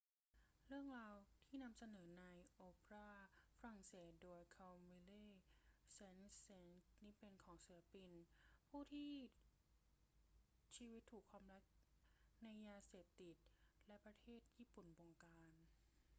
เรื่องราวที่นำเสนอในโอเปราฝรั่งเศสโดย camille saint-saens นี้เป็นของศิลปิน ผู้ที่ชีวิตถูกความรักในยาเสพติดและประเทศญี่ปุ่นบงการ